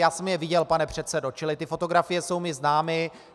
Já jsem je viděl, pane předsedo, čili ty fotografie jsou mi známy.